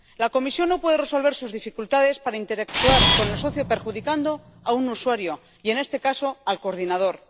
La Comisión no puede resolver sus dificultades para interactuar con el socio perjudicando a un usuario y, en este caso, al coordinador.